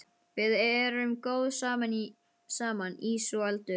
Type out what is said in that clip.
Við erum góð saman, ís og eldur.